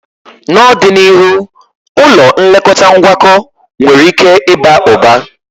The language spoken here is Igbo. N'ọdịniihu, ụlọ nlekọta ngwakọ nwere ike ịba ụba.